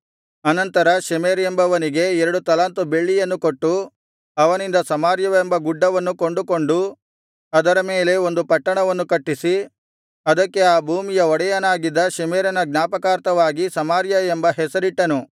ಅನಂತರ ಶೆಮೆರ್ ಎಂಬವನಿಗೆ ಎರಡು ತಲಾಂತು ಬೆಳ್ಳಿಯನ್ನು ಕೊಟ್ಟು ಅವನಿಂದ ಸಮಾರ್ಯವೆಂಬ ಗುಡ್ಡವನ್ನು ಕೊಂಡುಕೊಂಡು ಅದರ ಮೇಲೆ ಒಂದು ಪಟ್ಟಣವನ್ನು ಕಟ್ಟಿಸಿ ಅದಕ್ಕೆ ಆ ಭೂಮಿಯ ಒಡೆಯನಾಗಿದ್ದ ಶೆಮೆರನ ಜ್ಞಾಪಕಾರ್ಥವಾಗಿ ಸಮಾರ್ಯ ಎಂಬ ಹೆಸರಿಟ್ಟನು